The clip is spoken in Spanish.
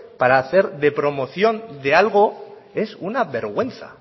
para hacer de promoción de algo es una vergüenza